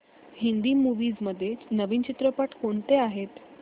Hindi movies मध्ये नवीन चित्रपट कोणते आहेत